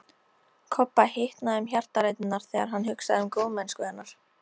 Kobba hitnaði um hjartaræturnar þegar hann hugsaði um góðmennsku hennar.